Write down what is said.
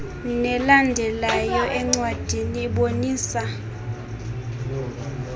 nelandelayo encwadini ibonisa